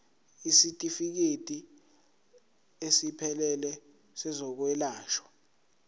isitifikedi esiphelele sezokwelashwa